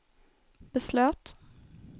beslöt